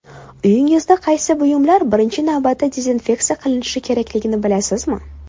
Uyingizdagi qaysi buyumlar birinchi navbatda dezinfeksiya qilinishi kerakligini bilasizmi?.